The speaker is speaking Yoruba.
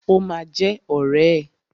Ó ma jẹ́ ọ̀rẹ́ ẹ̀.